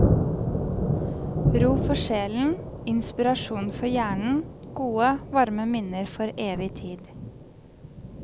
Ro for sjelen, inspirasjon for hjernen, gode, varme minner for evig tid.